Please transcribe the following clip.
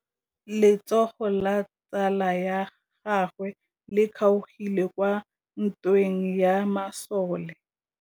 Letsôgô la tsala ya gagwe le kgaogile kwa ntweng ya masole.